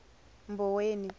mboweni